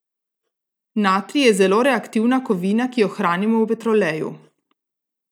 Natrij je zelo reaktivna kovina, ki jo hranimo v petroleju.